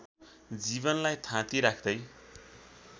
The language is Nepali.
जीवनलाई थाती राख्दै